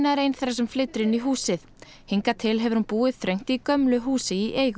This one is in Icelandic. er ein þeirra sem flytur inn í húsið hingað til hefur hún búið þröngt í húsi í eigu